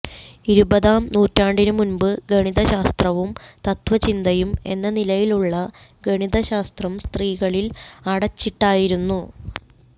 ഇരുപതാം നൂറ്റാണ്ടിനു മുൻപ് ഗണിതശാസ്ത്രവും തത്ത്വചിന്തയും എന്ന നിലയിലുള്ള ഗണിതശാസ്തം സ്ത്രീകളിൽ അടച്ചിട്ടായിരുന്നു